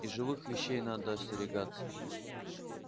и живых вещей надо остерегаться